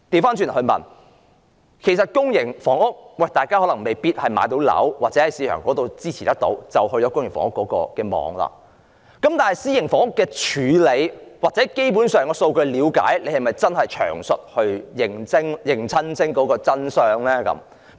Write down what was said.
反過來說，市民可能未必有能力負擔市場上的樓宇，於是便要進入公營房屋的網絡，但是，以私營房屋的處理或基本上對數據的了解而言，政府是否真的詳細認清當中的真相呢？